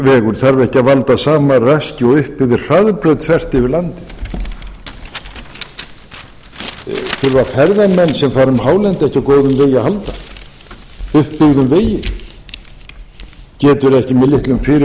þarf ekki að valda sama raski og upp yfir hraðbraut þvert yfir landið þurfa ferðamenn sem fara um hálendið ekki á góðum vegi að halda upp byggðum vegi getur ekki með